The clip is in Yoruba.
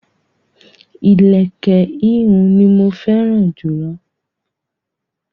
Ilẹ̀kẹ̀ ihùn ní mọ fẹ́ràn jùlọ.